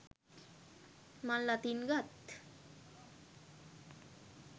මල් අතින් ගත්